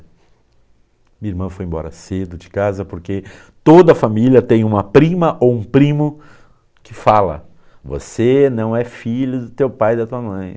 Minha irmã foi embora cedo de casa, porque toda família tem uma prima ou um primo que fala, você não é filho do teu pai e da tua mãe.